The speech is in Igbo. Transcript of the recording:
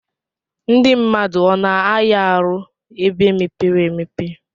Ndi mmadụ ọna aya arụ ebe mepere emepe?